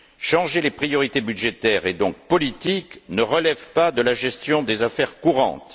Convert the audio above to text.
Changer les priorités budgétaires et donc politiques ne relève pas de la gestion des affaires courantes.